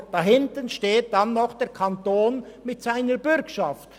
Aber dahinter steht dann noch der Kanton mit seiner Bürgschaft.